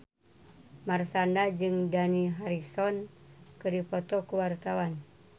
Marshanda jeung Dani Harrison keur dipoto ku wartawan